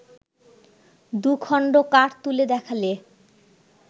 দু খণ্ড কাঠ তুলে দেখালে